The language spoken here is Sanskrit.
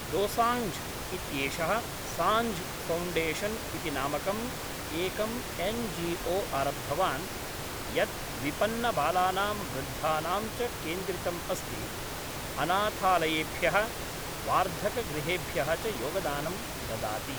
दोसाञ्झ् इत्येषः साञ्झ् फ़ौण्डेशन् इति नामकम् एकम् एन् जी ओ आरब्धवान् यत् विपन्नबालानां वृद्धानां च केन्द्रितम् अस्ति, अनाथालयेभ्यः वार्धकगृहेभ्यः च योगदानं ददाति।